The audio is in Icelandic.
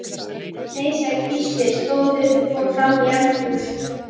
Nei, sagði Gísli, stóð upp og fór fram í eldhús.